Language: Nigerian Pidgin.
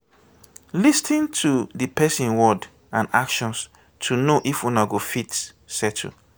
lis ten to di person word and actions to know if una go fit settle